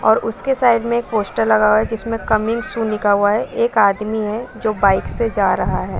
और उसके साइड में एक पोस्टर लगा हुआ है जिसमे कमिंग सून लिखा हुआ है एक आदमी है जो बाइक से जा रहा है।